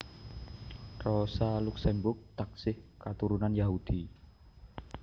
Rosa Luxemburg taksih katurunan Yahudi